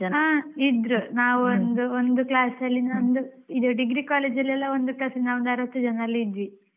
ಹಾ ಇದ್ರು ನಾವ್ ಒಂದು ಒಂದು class ಅಲ್ಲಿ ನಮ್ದು ಇದು degree, degree college ಎಲ್ಲ ಒಂದು class ಅಲ್ಲಿ ನಾವು ಒಂದು ಅರ್ವತ್ತು ಜನ ಎಲ್ಲ ಇದ್ವಿ.